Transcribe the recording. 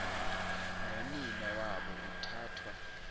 nonina wabo uthathwa